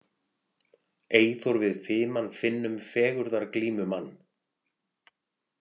Eyþór við fiman finnum fegurðarglímumann.